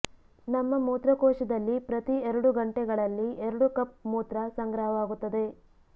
ನಮ್ಮ ಮೂತ್ರಕೋಶದಲ್ಲಿ ಪ್ರತಿ ಎರಡು ಗಂಟೆಗಳಲ್ಲಿ ಎರಡು ಕಪ್ ಮೂತ್ರ ಸಂಗ್ರಹವಾಗುತ್ತದೆ